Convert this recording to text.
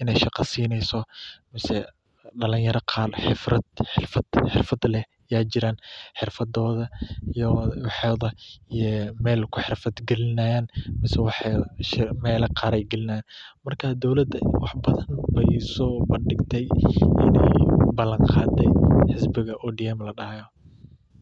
inaay shaqo sineyso, kuwa xurfada leh, meela qaar ayeey galinaayan.